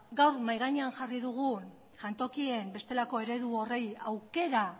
gaur mahai gainean jarri dugun jantokien bestelako eredu horri aukera